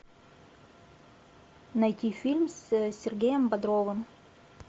найти фильм с сергеем бодровым